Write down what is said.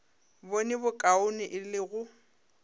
bone bokaone e le go